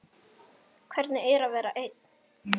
Hvernig er að vera ein?